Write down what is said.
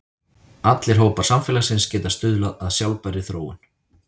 Allir hópar samfélagsins geta stuðlað að sjálfbærri þróun.